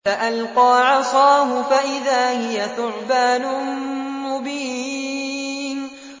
فَأَلْقَىٰ عَصَاهُ فَإِذَا هِيَ ثُعْبَانٌ مُّبِينٌ